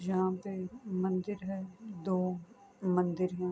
یہاں پی مندر ہے دو مندر ہے۔